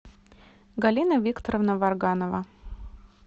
галина викторовна варганова